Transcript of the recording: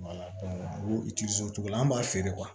cogo la an b'a feere